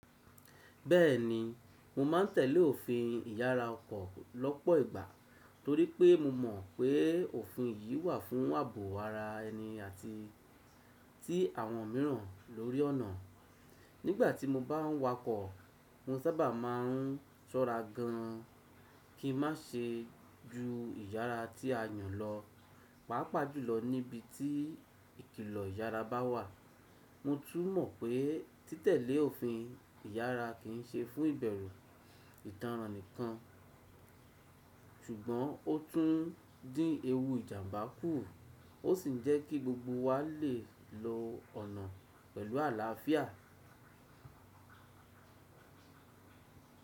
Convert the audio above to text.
Bẹ́ẹ̀ni, mo ma n tẹ̀lé òfin ìyára ọkọ̀ lọ́pọ̀ ìgbà torí pé mo mọ̀ pé òfin yìí wà fún ààbò ara ẹni àti ti àwọn mìíràn lórí ọ̀nà. Nígbà tí mo bá ń wakọ̀, mo sábà máa n sọ́ra gan kin ma ṣe ju ìyára tí a yàn lọ, pàápàá jùlọ níbi tí ìkìlọ ìyára bá wà. Mo tún mọ̀ pé títẹ̀lé òfin ìyára kìí ṣe fún ìbẹ̀rù ìtànràn nìkan, ṣùgbọ́n ó tún dín ewu ìjàmbá kù ó sì jẹ́kí gbogbo wa lè lo ọ̀nà pẹ̀lú àlàáfíà.